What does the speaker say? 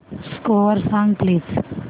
score सांग please